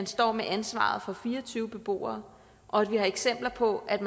står med ansvaret for fire og tyve beboere og vi har eksempler på at